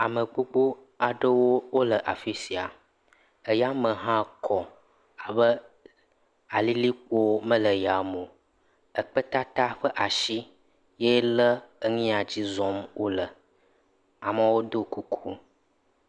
Ame gbogbo aɖewo le afi sia. Eyame hã kɔ abe alilikpo mele yame o. Ekpetata ƒe ashi yee lé enu ya dzi zɔm wole. Amewo do kuku.